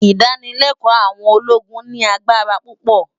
Idànilèkò áwòn ólógún ni ágbárá púpò